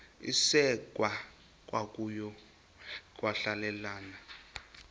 isekwa kokuya kwahlulelana